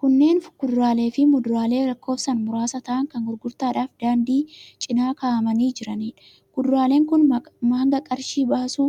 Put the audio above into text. Kunneen kuduraalee fi muduraalee lakkoofsaan muraasa ta'an kan gurgurtaadhaaf daandii cina kaa'amanii jiraniidha. Kuduraaleen kun hanga qarshii baasuu